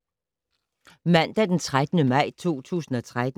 Mandag d. 13. maj 2013